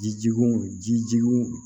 Jijugun jijugu